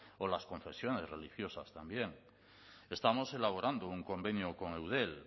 o las confesiones religiosas también estamos elaborando un convenio con eudel